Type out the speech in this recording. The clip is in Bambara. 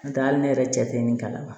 N'o tɛ hali ne yɛrɛ jate min kalama